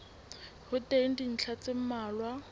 ho teng dintlha tse mmalwa